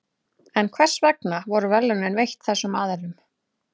En hvers vegna voru verðlaunin veitt þessum aðilum?